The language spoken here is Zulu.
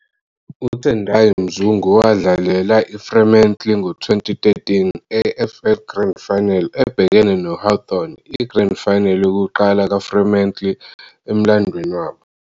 UTendai Mzungu wadlalela iFremantle ngo- 2013 AFL Grand Final ebhekene no- Hawthorn, i-Grand Final yokuqala kaFremantle emlandweni wabo.